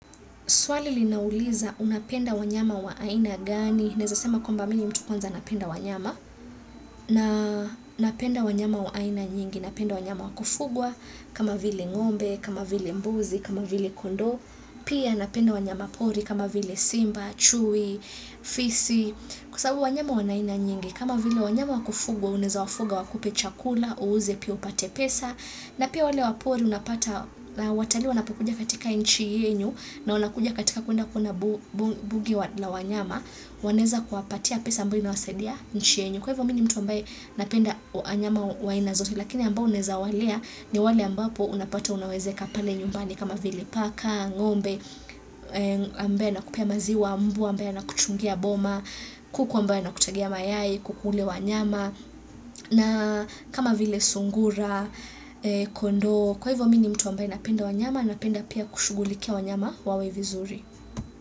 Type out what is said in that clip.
Swali linauliza unapenda wanyama wa aina gani, neza sema kwamba mini mtu kwanza napenda wanyama, na napenda wanyama wa aina nyingi, napenda wanyama wa kufugwa, kama vile ngombe, kama vili mbuzi, kama vili kondo, pia napenda wanyama pori kama vile simba, chui, fisi, kwa sababu wanyama wa naina nyingi. Kama vile wanyama wakufugwa, uneza wafuga wakupe chakula, uuze pia upate pesa, na pia wale wapori unapata, watali wanapokuja katika inchi yenyu, na wanakuja katika kuenda kuona bugi la wanyama, waneza kuwapatia pesa ambayo inawasedia nchi yenyu. Kwa hivo mini mtu ambaye napenda anyama waina zote, lakini ambao naweza walea ni wale ambapo unapata unawezeka pale nyumbani kama vile paka, ngombe, ambaye nakupea maziwa, mbwa ambaye kuchungia boma, kuku ambaye na kutagia mayai, kuku ule wanyama, na kama vile sungura, kondo, kwa hivo mini mtu ambaye napenda wanyama, napenda pia kushugulikia wanyama wawe vizuri.